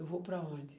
Eu vou para onde?